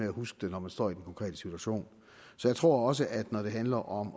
at huske det når man står i den konkrete situation så jeg tror også at når det handler om